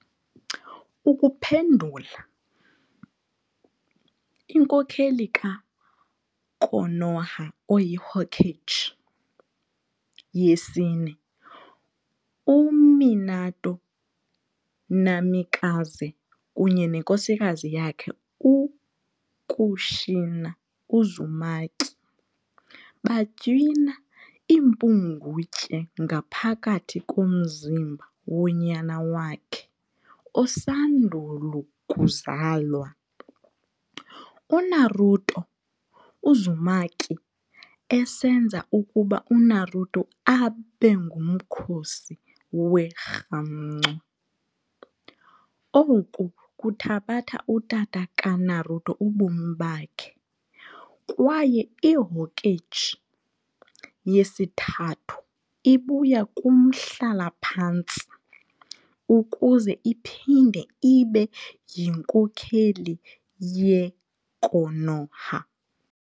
Ukuphendula, inkokheli ka-Konoha oyiHokage yesine, u-Minato Namikaze, kunye nenkosikazi yakhe u-Kushina Uzumaki, batywina impungutye ngaphakathi komzimba wonyana wakhe osandul ukuzalwa, u-Naruto Uzumaki, esenza ukuba u-Naruto abe ngumkhosi werhamncwa, oku kuthabatha utata ka-Naruto ubomi bakhe, kwaye iHokage yesiThathu ibuya kumhlala-phantsi ukuze iphinde ibe yinkokheli yeKonoha.